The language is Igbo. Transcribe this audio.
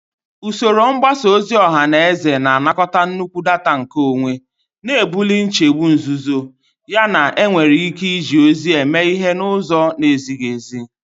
Usoro mgbasa ozi ọha na eze na-anakọta nnukwu data nkeonwe, na-ebuli nchegbu nzuzo yana enwere ike iji ozi eme ihe n'ụzọ na-ezighị ezi.